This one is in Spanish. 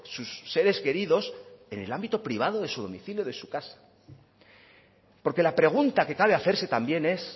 sus seres queridos en el ámbito privado de su domicilio de su casa porque la pregunta que cabe hacerse también es